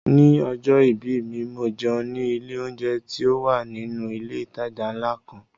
Ni ọjọ́ ìbí mi, mo jẹun ní ilé oúnjẹ tí ó wà nínú ilé ìtajà ńlá kan